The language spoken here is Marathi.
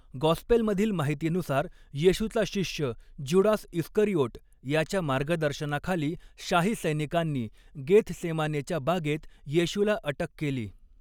गॉस्पेलमधील माहितीनुसार, येशूचा शिष्य ज्यूडास इस्करिओट याच्या मार्गदर्शनाखाली शाही सैनिकांनी गेथसेमानेच्या बागेत येशूला अटक केली.